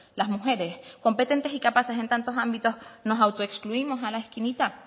las mujeres competentes y capaces en tantos ámbitos nos autoexcluimos a la esquinita